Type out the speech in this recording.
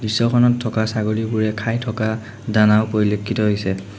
দৃশ্যখনত থকা ছাগলীবোৰে খাই থকা দানাও পৰিলক্ষিত হৈছে।